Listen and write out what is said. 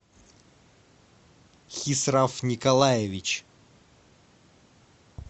хисраф николаевич